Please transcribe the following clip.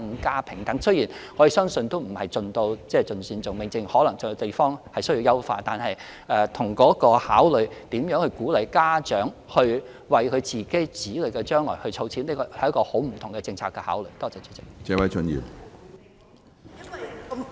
儘管我們相信不可能做到盡善盡美，或許有些地方仍須優化，但這與如何鼓勵家長為子女的將來儲蓄，是相當不同的政策考慮。